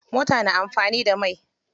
Mota na amfani da mai.